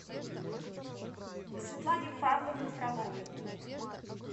светлане павловне фроловой